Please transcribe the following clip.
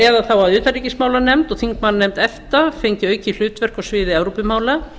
eða þá að utanríkismálanefnd og þingmannanefnd efta fengi aukið hlutverk á sviði evrópumála